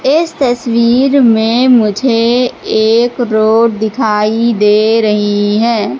इस तस्वीर में मुझे एक रोड दिखाई दे रही हैं।